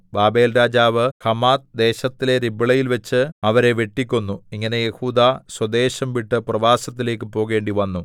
ബാബേൽരാജാവ് Hamath ദേശത്തിലെ രിബ്ളയിൽവച്ച് അവരെ വെട്ടിക്കൊന്നു ഇങ്ങനെ യെഹൂദാ സ്വദേശം വിട്ട് പ്രവാസത്തിലേക്കു പോകേണ്ടിവന്നു